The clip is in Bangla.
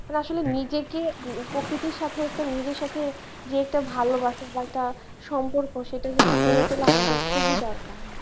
মানে আসলে নিজেকে প্রকৃতির সাথে একটা নিজের সাথে যে একটা ভালোবাসা বা একটা সম্পর্ক সেটা কিন্তু গড়ে তোলা আমাদের খুবই দরকার।